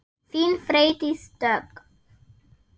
Þín, Freydís Dögg.